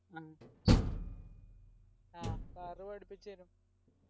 ആ car പഠിപ്പിച്ചേരും